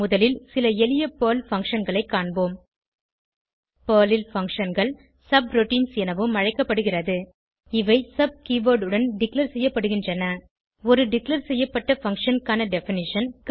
முதலில் சில எளிய பெர்ல் functionகளை காண்போம் பெர்ல் ல் functionகள் சப்ரூட்டின்ஸ் எனவும் அழைக்கப்படுகிறது இவை சப் கீவர்ட் உடன் டிக்ளேர் செய்யப்படுகின்றன ஒரு டிக்ளேர் செய்யப்பட்ட பங்ஷன் க்கான டெஃபினிஷன்